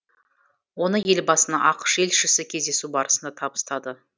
оны елбасына ақш елшісі кездесу барысында табыстады